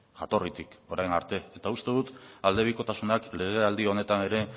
jatorritik orain arte eta uste dut aldebikotasunak legealdi honetan ere